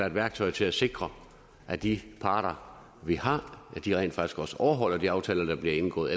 et værktøj til at sikre at de parter vi har rent faktisk også overholder de aftaler der bliver indgået